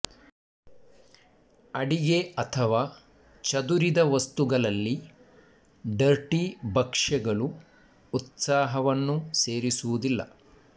ಅಡಿಗೆ ಅಥವಾ ಚದುರಿದ ವಸ್ತುಗಳಲ್ಲಿ ಡರ್ಟಿ ಭಕ್ಷ್ಯಗಳು ಉತ್ಸಾಹವನ್ನು ಸೇರಿಸುವುದಿಲ್ಲ